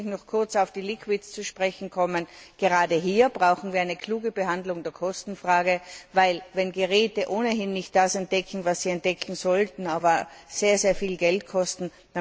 Natürlich muss ich noch kurz auf die Flüssigkeiten zu sprechen kommen. Gerade hier brauchen wir eine kluge Behandlung der Kostenfrage, wenn wir bedenken, dass die Geräte ohnehin nicht das entdecken, was sie entdecken sollten, aber sehr viel Geld kosten.